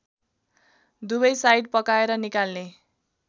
दुवै साइड पकाएर निकाल्ने